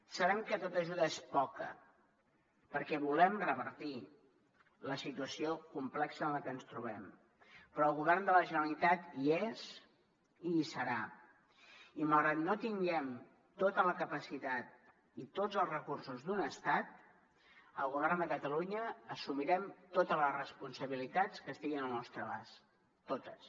sabem que tota ajuda és poca perquè volem revertir la situació complexa en la que ens trobem però el govern de la generalitat hi és i hi serà i malgrat que no tinguem tota la capacitat i tots els recursos d’un estat el govern de catalunya assumirem totes les responsabilitats que estiguin al nostre abast totes